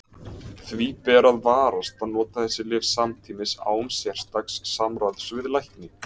Því ber að varast að nota þessi lyf samtímis án sérstaks samráðs við lækni.